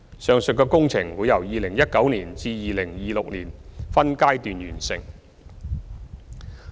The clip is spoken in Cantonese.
上述的工程會由2019年至2026年分階段完成。